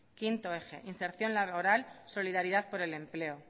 quinto eje inserción laboral solidaridad por el empleo